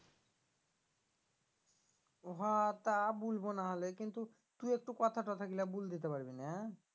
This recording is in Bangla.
ও হা তা বুলবো নাহলে কিন্তু তুই একটু কথা তঠা গুলা বুল দিতে পারবি না?